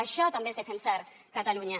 això també és defensar catalunya